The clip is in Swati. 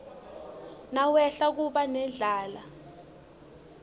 nawehla kuba nendlala